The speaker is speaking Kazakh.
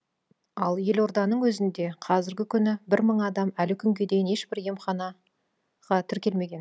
ал елорданың өзінде қазіргі күні бір мың адам әлі күнге дейін ешбір емханаға тіркелмеген